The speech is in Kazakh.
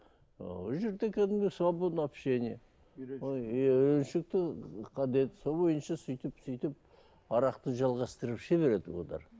ыыы ол жерде кәдімгі свободный общение иә үйреншікті сол бойынша сөйтіп сөйтіп арақты жалғастырып іше береді олар